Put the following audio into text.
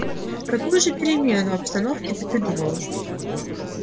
какую же перемену обстановки ты придумала